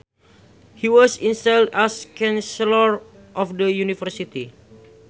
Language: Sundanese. He was installed as Chancellor of the University